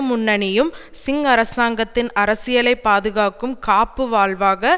முன்னணியும் சிங் அரசாங்கத்தின் அரசியலை பாதுகாக்கும் காப்பு வால்வாக